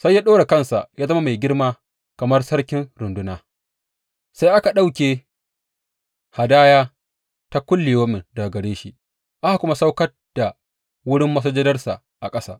Sai ya ɗora kansa ya zama mai girma kamar Sarkin runduna; sai aka ɗauke hadaya ta kullayaumi daga gare shi, aka kuma saukar da wurin masujadarsa ƙasa.